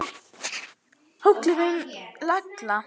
Það fór hrollur um Lalla.